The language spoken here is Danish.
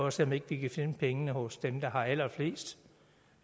at se om ikke vi kan finde pengene hos dem der har allerflest